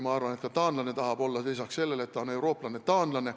Ma arvan, et ka taanlane tahab peale selle, et ta on eurooplane, olla taanlane.